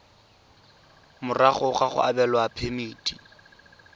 morago ga go abelwa phemiti